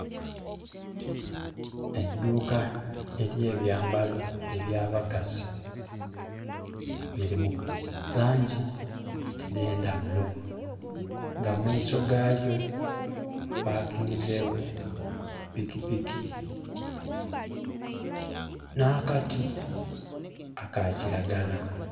Eidhuka elyebyambalo ebyabakazi, biri mu langi edhendaghulo nga mu maiso ga lyo ghapakinzegho pikipiki n'akati aka kiragala.